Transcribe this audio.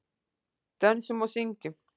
Dönsum og syngjum.